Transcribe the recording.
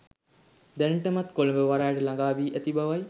දැනටමත් කොළඹ වරායට ළගා වී ඇති බවයි